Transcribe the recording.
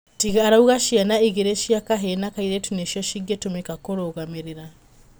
Tiga arauga ciana ĩgĩri cĩa kahĩĩ na kaĩrĩtu nĩcio cingĩtũmika kurũgamĩrĩra